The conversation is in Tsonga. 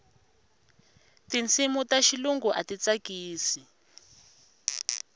tinsimu ta xilungu a ti tsakisi